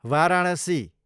Varanasi